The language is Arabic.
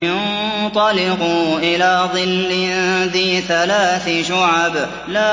انطَلِقُوا إِلَىٰ ظِلٍّ ذِي ثَلَاثِ شُعَبٍ